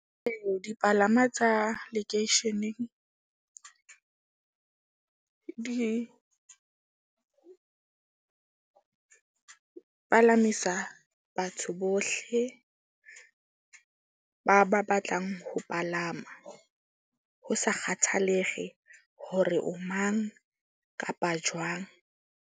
Ee, dipalama tsa lekeisheneng di palamisa batho bohle. Ba ba batlang ho palama, ho sa kgathalehe hore o mang kapa jwang.